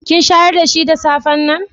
Kin shayar da shi da safen nan?